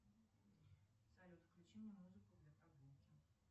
салют включи мне музыку для прогулки